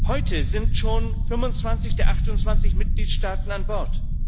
Heute sind schon 25 der 28 Mitgliedstaaten an Bord.